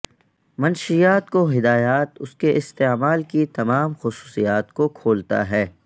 منشیات کو ہدایات اس کے استعمال کی تمام خصوصیات کو کھولتا ہے